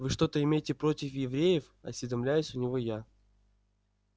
вы что-то имеете против евреев осведомляюсь у него я